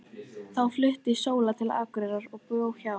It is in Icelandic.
Þá flutti Sóla til Akureyrar og bjó hjá